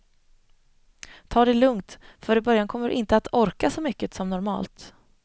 Ta det lugnt för i början kommer du inte att orka så mycket som normalt.